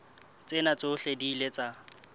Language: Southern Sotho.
tsena tsohle di ile tsa